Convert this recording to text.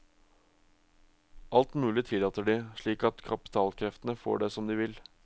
Alt mulig tillater de, slik at kapitalkreftene får det som de vil.